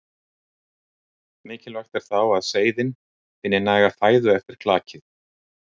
Mikilvægt er þá að seiðin finni næga fæðu eftir klakið.